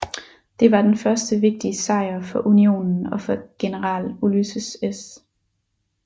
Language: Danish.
Det var den første vigtige sejr for Unionen og for general Ulysses S